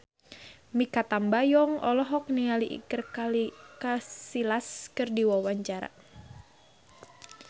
Mikha Tambayong olohok ningali Iker Casillas keur diwawancara